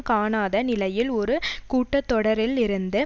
காணாத நிலையில் ஒரு கூட்ட தொடரில் இருந்து